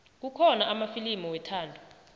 kukhona amafilimu wethando